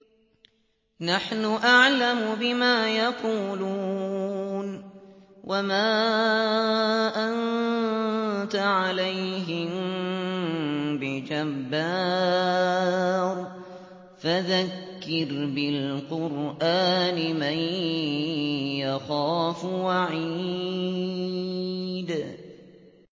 نَّحْنُ أَعْلَمُ بِمَا يَقُولُونَ ۖ وَمَا أَنتَ عَلَيْهِم بِجَبَّارٍ ۖ فَذَكِّرْ بِالْقُرْآنِ مَن يَخَافُ وَعِيدِ